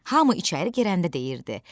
Hamı içəri girəndə deyirdi: